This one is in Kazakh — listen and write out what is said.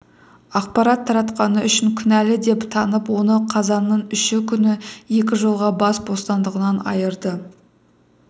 ақпарат таратқаны үшін кінәлі деп танып оны қазанның үші күні екі жылға бас бостандығынан айыырды